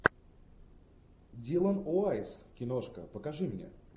дилан уайс киношка покажи мне